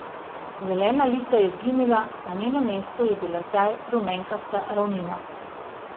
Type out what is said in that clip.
Zelena lisa je izginila, na njenem mestu je bila zdaj rumenkasta ravnina.